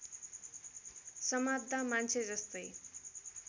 समात्दा मान्छे जस्तै